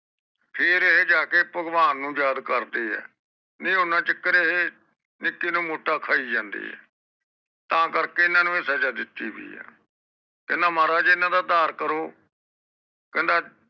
ਫੇਰ ਇਹ ਜਾਕੇ ਭਗਵਾਨ ਨੂੰ ਜਦ ਕਰਦੇ ਆ ਤੇ ਓਹਨਾ ਚੱਕਰ ਏਹੇ ਨਿਕੀ ਨੂੰ ਮੋਟਾ ਖਾਇ ਜਾਂਦੇ ਏ ਤਾ ਕਰਕੇ ਹਨ ਨੂੰ ਇਹ ਸਜਾ ਦਿਤੀ ਹੋਇ ਏ ਹਨ ਮਹਾਰਾਜ ਹਨ ਦਾ ਡਾਰ ਕਰੋ ਕਹਿੰਦਾ